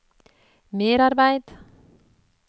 merarbeid